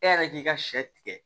E yɛrɛ k'i ka sɛ tigɛ